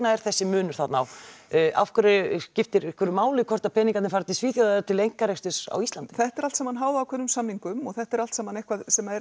er þessi munur þarna á skiptir einhverju máli hvort að peningarnir fari til Svíþjóðar eða til einkarekstur á Íslandi þetta er allt saman háð ákveðnum samningum og þetta er allt saman eitthvað sem